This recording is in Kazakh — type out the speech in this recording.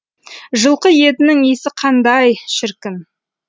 жылқы етінің иісі қандай шіркін